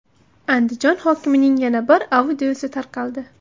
Andijon hokimining yana bir audiosi tarqaldi.